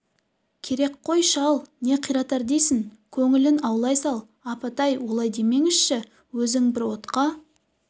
керек қой шал не қиратар дейсің көңілін аулай сал апатай олай демеңізіші өзің бір отқа